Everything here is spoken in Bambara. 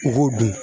U k'o dun